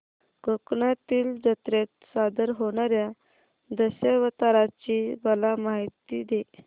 कोकणातील जत्रेत सादर होणार्या दशावताराची मला माहिती दे